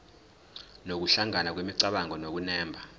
nokuhlangana kwemicabango nokunemba